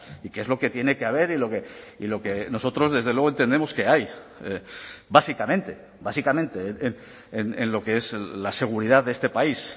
y qué es lo que tiene que haber y lo que nosotros desde luego entendemos que hay básicamente básicamente en lo que es la seguridad de este país